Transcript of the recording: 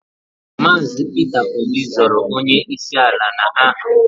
Maazi Peter Obi zọọrọ onye isi ala na aha.